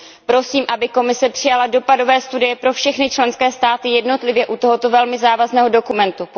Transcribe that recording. Prosím, aby Komise přijala dopadové studie pro všechny členské státy jednotlivě u tohoto velmi závazného dokumentu.